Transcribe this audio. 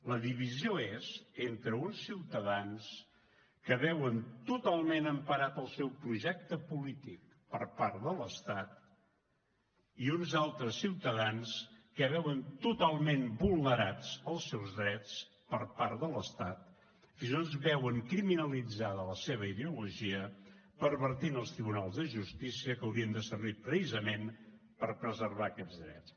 la divisió és entre uns ciutadans que veuen totalment emparat el seu projecte polític per part de l’estat i uns altres ciutadans que veuen totalment vulnerats els seus drets per part de l’estat i fins i tot veuen criminalitzada la seva ideologia pervertint els tribunals de justícia que haurien de servir precisament per preservar aquests drets